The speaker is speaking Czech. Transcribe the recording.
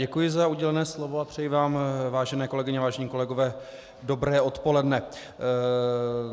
Děkuji za udělené slovo a přeji vám, vážené kolegyně a vážení kolegové, dobré odpoledne.